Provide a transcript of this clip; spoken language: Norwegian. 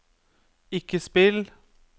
ikke spill